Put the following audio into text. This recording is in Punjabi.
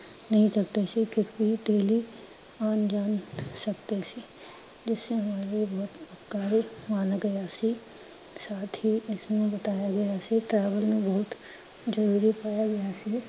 daily ਆਣ ਜਾਣ ਸਕਦੇ ਸੀ। ਘਰ ਬਣ ਗਿਆ ਸੀ ਸਾਥ ਹੀ ਇਸਨੂੰ ਬਤਾਇਆ ਗਿਆ ਸੀ travel